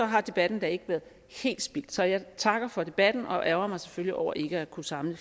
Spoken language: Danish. har debatten da ikke været helt spildt så jeg takker for debatten og ærgrer mig selvfølgelig over ikke at kunne samle